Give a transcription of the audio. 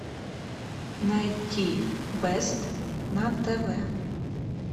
найти бест на тв